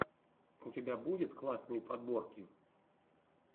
у тебя будет классные подборки